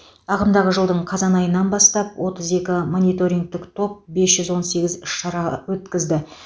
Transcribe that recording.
ағымдағы жылдың қазан айынан бастап отыз екі мониторингтік топ бес жүз он сегіз іс шара өткізді